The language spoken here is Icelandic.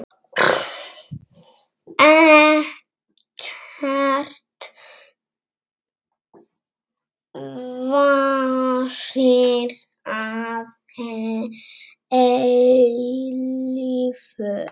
Ekkert varir að eilífu.